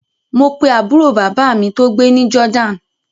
Mo pe àbúrò bàbá mi tó gbé ní Jordan